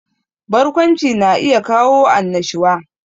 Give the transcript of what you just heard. Barkwanci na iya kawo annashuwa